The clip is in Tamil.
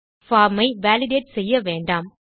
பார்ம் ஐ வாலிடேட் செய்ய வேண்டாம்